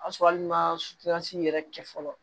O y'a sɔrɔ hali n'i ma yɛrɛ kɛ fɔlɔ